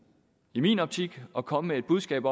i min optik at komme med et budskab